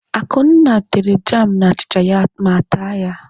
Akunna tere jam na achịcha ya ma taa ya.